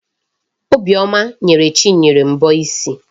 Obiọma nyere Chinyere mbọ isi ya.